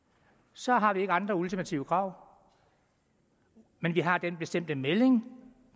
så har vi ikke andre ultimative krav men vi har den bestemte melding